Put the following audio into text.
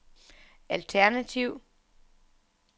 alternativ